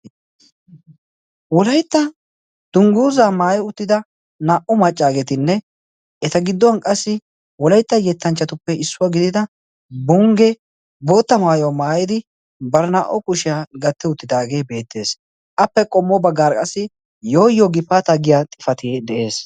wolaitta dungguuza maaye uttida naa77u maccaageetinne eta gidduwan qassi wolaitta yettanchchatuppe issuwaa gidida bongge bootta maayuwa maayidi barinaa77o kushiyaa gatte uttidaagee beettees appe qommo baggaara qassi yooyo gifaata giya xifatie de7ees.